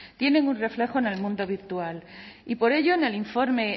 tienen un reflejo en el mundo virtual y por ello en el informe